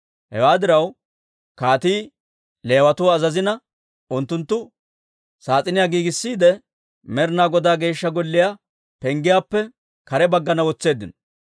Hewaa diraw, kaatii Leewatuwaa azazina, unttunttu saas'iniyaa giigissiide, Med'inaa Godaa Geeshsha Golliyaa penggiyaappe kare baggana wotseeddino.